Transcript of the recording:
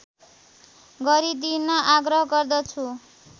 गरिदिन आग्रह गर्दछु